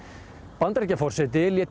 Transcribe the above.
Bandaríkjaforseti lét